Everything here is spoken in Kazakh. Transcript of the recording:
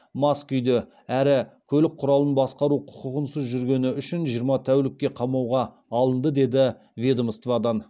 мас күйде әрі көлік құралын басқару құқығынсыз жүргізгені үшін жиырма тәулікке қамауға алынды деді ведомстводан